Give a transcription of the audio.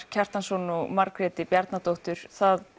Kjartansson og Margréti Bjarnadóttur það